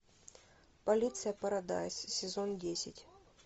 полиция парадайз сезон десять